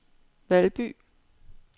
Valby